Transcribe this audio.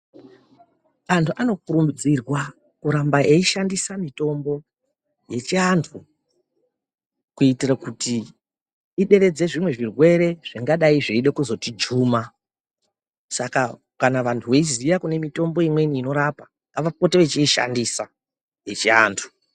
Antu anokurudzirwa kuramba eishandisa mitombo yechivantu kuitira kuti ideredze zvirwere zvingadai zveida kuzotijuma Saka kana vantu veiziya kune mitombo imweni inorapa ngavapote vechiishandisa yechivantu.